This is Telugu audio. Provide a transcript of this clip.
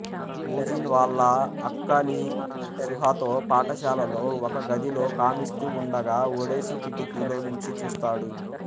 వూజిన్ వాళ్ళ అక్క లీ సూహాతో పాఠశాలలో ఒక గదిలో కామిస్తూ వుండగా ఒడేసు కిటికీ లోనుంచి చూస్తాడు